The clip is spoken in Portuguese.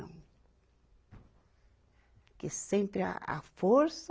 Porque sempre a, a força